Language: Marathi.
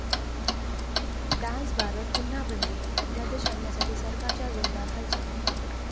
डान्स बारवर पुन्हा बंदी? अध्यादेश आणण्यासाठी सरकारच्या जोरदार हालचाली